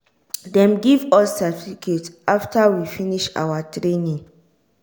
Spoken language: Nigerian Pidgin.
dem give us certificate after we finish awa training.